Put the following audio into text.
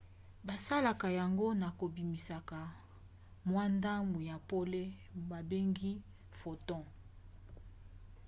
basalaka yango na kobimisaka mwa ndambu ya pole babengi photon